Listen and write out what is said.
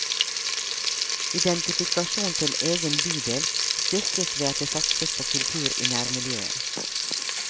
Identifikasjon til egen bydel styrkes ved at det satses på kultur i nærmiljøet.